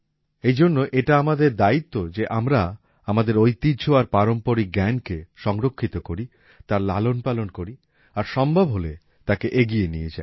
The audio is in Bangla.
এইজন্য এটা আমাদের দায়িত্ব যে আমরা আমাদের ঐতিহ্য আর পারম্পরিক জ্ঞানকে সংরক্ষিত করি তার লালন পালন করি আর সম্ভব হলে তাকে এগিয়ে নিয়ে যাই